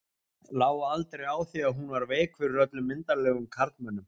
Lá aldrei á því að hún var veik fyrir öllum myndarlegum karlmönnum.